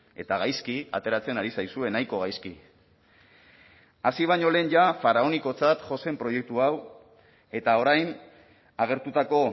eta gaizki ateratzen ari zaizue nahiko gaizki hasi baino lehen ja faraonikotzat jo zen proiektu hau eta orain agertutako